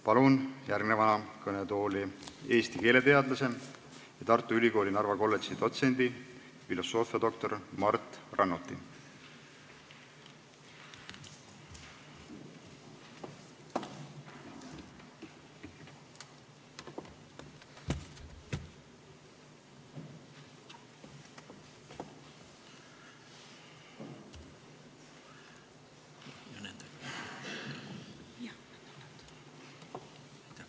Palun järgmiseks kõnetooli Eesti keeleteadlase, Tartu Ülikooli Narva kolledži dotsendi filosoofiadoktor Mart Rannuti!